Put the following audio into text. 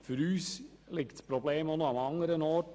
Für uns besteht auch an anderer Stelle ein Problem: